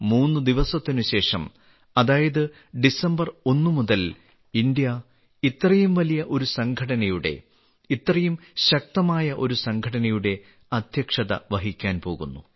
3 ദിവസത്തിന് ശേഷം അതായത് ഡിസംബർ 1 മുതൽ ഇന്ത്യ ഇത്രയും വലിയ ഒരു സംഘടനയുടെ ഇത്രയും ശക്തമായ ഒരു സംഘടനയുടെ അധ്യക്ഷത വഹിക്കാൻ പോകുന്നു